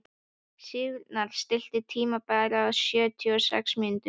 Sigurnanna, stilltu tímamælinn á sjötíu og sex mínútur.